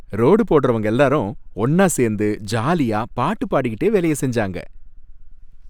Road போடறவங்க எல்லாரும் ஒன்னா சேர்ந்து ஜாலியா பாட்டு பாடிகிட்டே வேலைய செஞ்சாங்க.